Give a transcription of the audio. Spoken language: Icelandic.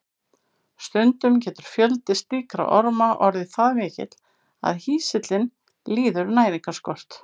Stundum getur fjöldi slíkra orma orðið það mikill að hýsillinn líður næringarskort.